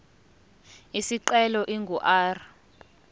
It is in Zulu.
isicelo ingu r